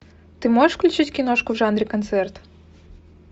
ты можешь включить киношку в жанре концерт